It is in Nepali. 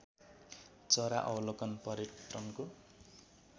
चरा अवलोकन पर्यटनको